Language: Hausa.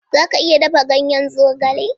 Za ka iya dafa ganyen zogale?